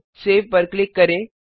save पर click करें